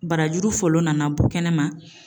Barajuru fɔlɔ nana bɔ kɛnɛ ma.